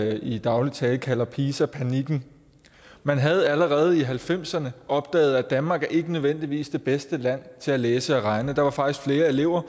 i daglig tale kalder pisa panikken man havde allerede i nitten halvfemserne opdaget at danmark ikke nødvendigvis er det bedste land til at læse og regne der var faktisk flere elever